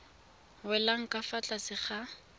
welang ka fa tlase ga